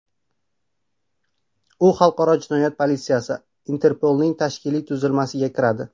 U xalqaro jinoyat politsiyasi – Interpolning tashkiliy tuzilmasiga kiradi.